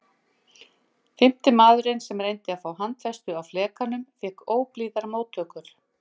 Fimmti maðurinn sem reyndi að fá handfestu á flekanum fékk óblíðar móttökur.